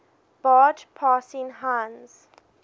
barge passing heinz